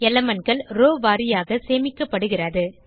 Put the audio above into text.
elementகள் row வாரியாக சேமிக்கப்படுகிறது